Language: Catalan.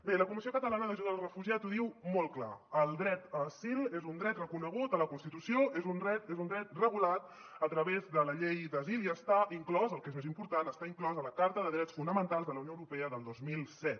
bé la comissió catalana d’ajuda al refugiat ho diu molt clar el dret a asil és un dret reconegut a la constitució és un dret regulat a través de la llei d’asil i està inclòs el que és més important a la carta de drets fonamentals de la unió europea del dos mil set